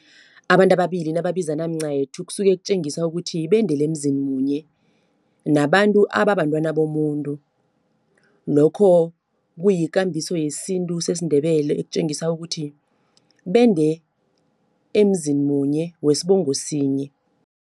Abantu ababili nababizana mncayethu kusuke kutjengisa ukuthi bendele emzini munye, nabantu ababantwana bomuntu. Lokho kuyikambiso yesintu sesiNdebele, ekutjengisa ukuthi bende emzini munye, wesibongo sinye.